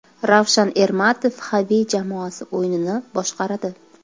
Ravshan Ermatov Xavi jamoasi o‘yinini boshqaradi.